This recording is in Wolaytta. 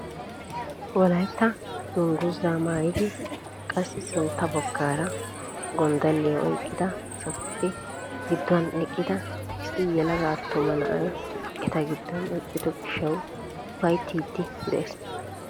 Wolaytta dungguzaa maayidi qassi sintta baggaara gonddaliyaa oyqqida asatuppe gidduwaan eqqida issi yelaga attuma na'ay eta giddon eqqido gishshawu ufayttiidi de'ees!